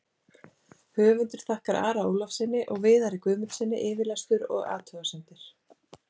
Höfundur þakkar Ara Ólafssyni og Viðari Guðmundssyni yfirlestur og athugasemdir.